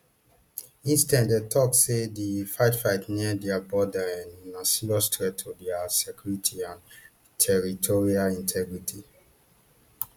instead dem tok say di fightfight near dia border um na serious threat to dia security and territorial integrity